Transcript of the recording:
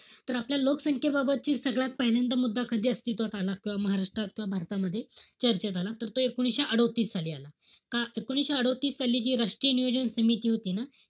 तर आपल्या लोकसंख्येबाबतची सगळ्यात पहिल्यांदा मुद्दा कधी अस्तित्वात आला. किंवा महाराष्ट्रात किंवा भारत चर्चेत आला. त तो एकोणविशे अडोतीस साली आला. एकोणीशे अडोतीस साली, जी राष्ट्रीय नियोजन समिती होती ना,